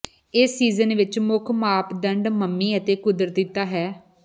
ਇਸ ਸੀਜ਼ਨ ਵਿੱਚ ਮੁੱਖ ਮਾਪਦੰਡ ਮੰਮੀ ਅਤੇ ਕੁਦਰਤੀਤਾ ਹੈ